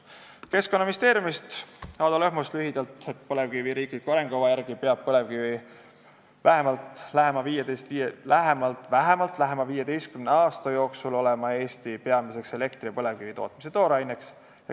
Ado Lõhmus Keskkonnaministeeriumist ütles , et põlevkivi riikliku arengukava järgi peab põlevkivi vähemalt lähema 15 aasta jooksul olema Eestis peamiseks elektritootmise tooraineks.